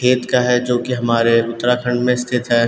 खेत का है जो की हमारे उत्तराखंड में स्थित है।